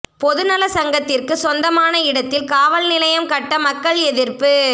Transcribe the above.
பொதுநல சங்கத்திற்கு சொந்தமான இடத்தில் காவல் நிலையம் கட்ட மக்கள் எதிர்ப்பு